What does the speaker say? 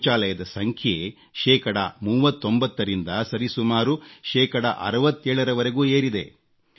ಶೌಚಾಲಯದ ಸಂಖ್ಯೆ ಶೇಕಡಾ 39ರಿಂದ ಸರಿಸುಮಾರು ಶೇಕಡಾ 67ರವರೆಗೂ ಏರಿದೆ